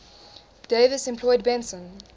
davis employed benson